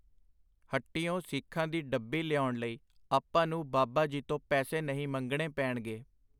ਹੱਟੀਓ ਸੀਖਾਂ ਦੀ ਡੱਬੀ ਲਿਆਉਣ ਲਈ ਆਪਾਂ ਨੂੰ ਬਾਬਾ ਜੀ ਤੋਂ ਪੈਸੇ ਨਹੀਂ ਮੰਗਣੇ ਪੈਣਗੇ.